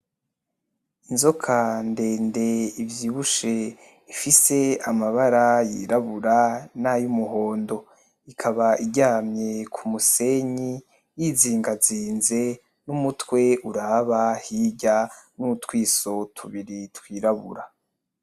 Inzoka ndende Ivyibushe ifise amabara yirabura nayumuhondo, ikaba iryamye kumusenyi yizigazize numutwe uraba hirya, nutwiso tubiri twirabura.